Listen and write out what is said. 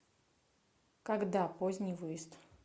когда поздний выезд